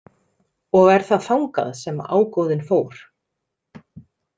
Og er það þangað sem ágóðinn fór?